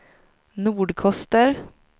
Nordkoster